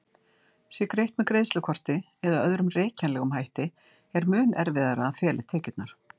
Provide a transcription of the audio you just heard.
Sé greitt með greiðslukorti eða öðrum rekjanlegum hætti er mun erfiðara að fela tekjurnar.